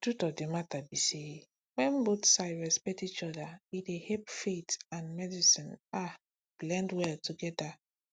the truth of the matter be say when both sides respect each other e dey help faith and medicine ah blend well together